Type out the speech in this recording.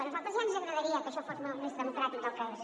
a nosaltres ja ens agradaria que això fos molt més democràtic del que és